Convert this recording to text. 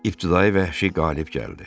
İbtidai vəhşi qalib gəldi.